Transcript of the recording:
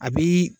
A bi